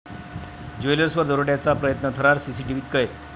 ज्वेलर्स'वर दरोड्याचा प्रयत्न, थरार सीसीटीव्हीत कैद